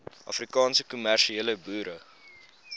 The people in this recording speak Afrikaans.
afrikaanse kommersiële boere